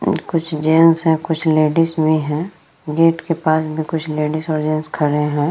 हम्म कुछ जेंट्स है कुछ लेडिस भी है गेट के पास में कुछ लेडिस और जेंट्स खड़े हैं।